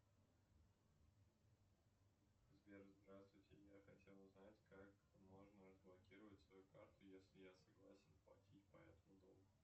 сбер здравствуйте я хотел узнать как можно разблокировать свою карту если я согласен платить по этому долгу